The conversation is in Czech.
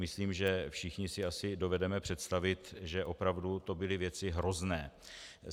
Myslím, že všichni si asi dovedeme představit, že opravdu to byly věci hrozné.